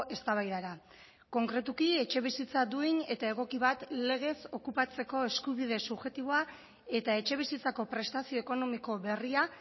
eztabaidara konkretuki etxebizitza duin eta egoki bat legez okupatzeko eskubide subjektiboa eta etxebizitzako prestazio ekonomiko berria